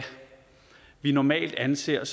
vi normalt anser